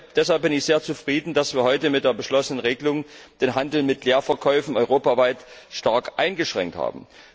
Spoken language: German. Deshalb bin ich sehr zufrieden, dass wir heute mit der beschlossenen Regelung den Handel mit Leerverkäufen europaweit stark eingeschränkt haben.